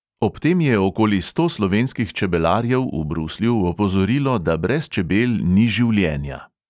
Ob tem je okoli sto slovenskih čebelarjev v bruslju opozorilo, da brez čebel ni življenja.